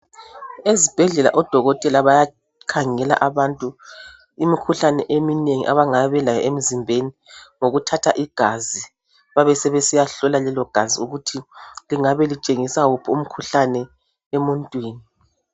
Ezibhedlela odokotela bayakhangela abantu imikhuhlane eminengi abangabe belayo emzimbeni ngokuthatha igazi, babesebesiyahlola lelo igazi ukuthi lingabe litshengisa uphi umkhuhlane emuntwini.